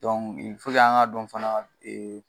an ka dɔn fana